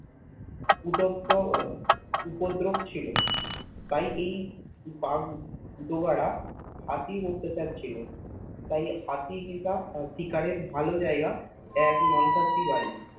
উদকর উপদ্দরব ছিল তাই এই দাগ দুওয়ার হাতির অট্টাচার ছিল তাই হাতি শিকারের ভাল জায়গা এক মাংসসি বাড়ি